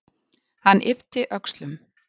Hann yppti öxlum.